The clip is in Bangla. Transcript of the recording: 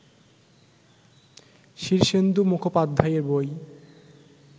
শীর্ষেন্দু মুখোপাধ্যায়ের বই